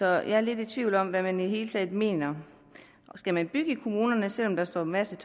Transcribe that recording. jeg er lidt i tvivl om hvad man i det hele taget mener skal man bygge i kommunerne selv om der står en masse